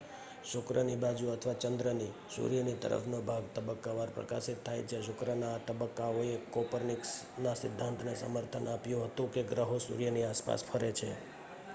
શુક્રની બાજુ અથવા ચંદ્રની સૂર્યની તરફનો ભાગ તબક્કાવાર પ્રકાશિત થાય છે. શુક્રના આ તબક્કાઓએ કોપરનિકસના સિદ્ધાંતને સમર્થન આપ્યું હતું કે ગ્રહો સૂર્યની આસપાસ ફરે છે